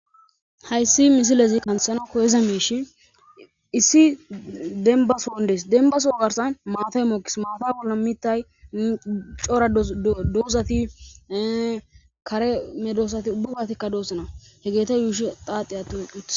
hayssi misilezi kanthana koyiza miishi issi denba soon des denba son garsa maatay mookis maata polamitay cora doozati kare me doosati ubbugatikka doossana he geeta yuushi xaaxi attu eqqi utes